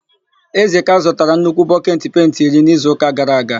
Ezeka zụtara nnukwu bọketi penti iri n'izuụka gara aga.